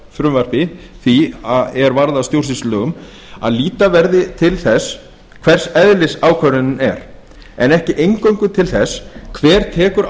frumvarpi því er varð að stjórnsýslulögum að líta verði til þess hvers eðlis ákvörðunin er en ekki eingöngu til þess hver tekur